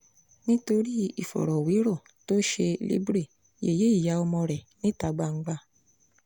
nítorí ìfọ̀rọ̀wérọ̀ tó ṣe libre yẹ̀yẹ́ ìyá ọmọ rẹ níta gbangba